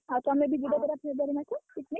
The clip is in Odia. ତମେ ବି ଯିବ February ମାସରେ picnic